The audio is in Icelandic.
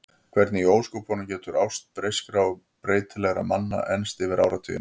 Hvernig í ósköpunum getur ást breyskra og breytilegra manna enst yfir áratugina?